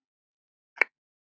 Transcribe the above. Klærnar sýnir Góa.